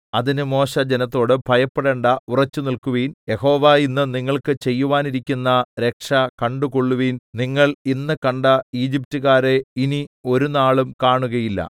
അതിന് മോശെ ജനത്തോട് ഭയപ്പെടണ്ടാ ഉറച്ചുനില്ക്കുവിൻ യഹോവ ഇന്ന് നിങ്ങൾക്ക് ചെയ്യുവാനിരിക്കുന്ന രക്ഷ കണ്ടുകൊള്ളുവിൻ നിങ്ങൾ ഇന്ന് കണ്ട ഈജിപ്റ്റുകാരെ ഇനി ഒരുനാളും കാണുകയില്ല